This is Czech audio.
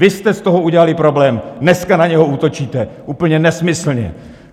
Vy jste z toho udělali problém, dneska na něj útočíte úplně nesmyslně.